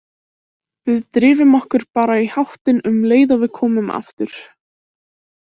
Við drifum okkur bara í háttinn um leið og við komum aftur.